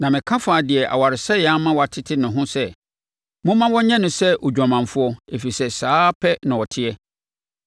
Na meka faa deɛ awaresɛeɛ ama watete no ho sɛ, ‘Momma wɔnyɛ no sɛ odwamanfoɔ, ɛfiri sɛ saa ara pɛ na ɔteɛ.’